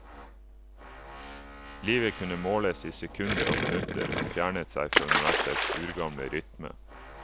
Livet kunne måles i sekunder og minutter, og fjernet seg fra universets urgamle rytme.